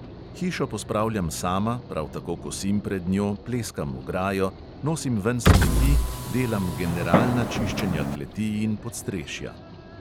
Hišo pospravljam sama, prav tako kosim pred njo, pleskam ograjo, nosim ven smeti, delam generalna čiščenja kleti in podstrešja ...